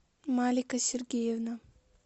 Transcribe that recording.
малика сергеевна